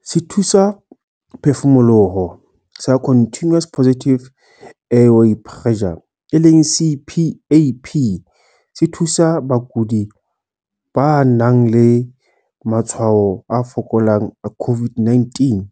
Sethusaphefumoloho sa Continuous Positive Airway Pressure, CPAP, se thusa bakudi ba nang le matshwao a fokolang a COVID-19